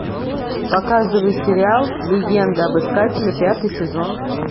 показывай сериал легенда об искателе пятый сезон